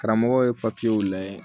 Karamɔgɔ ye papiyew lajɛ